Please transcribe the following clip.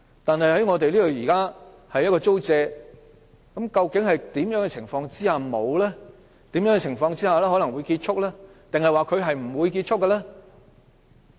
但是，現時的租借期究竟在甚麼情況下結束，甚麼情況下可能會結束，還是不會結束呢？